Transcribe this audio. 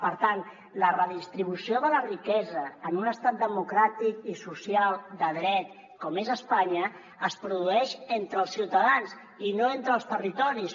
per tant la redistribució de la riquesa en un estat democràtic i social de dret com és espanya es produeix entre els ciutadans i no entre els territoris